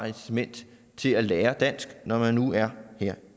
incitament til at lære dansk når man nu er her